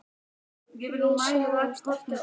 Við sjáumst ekki oftar.